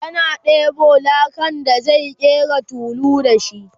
yana ɗebo lakan da zai ƙera tulu da shi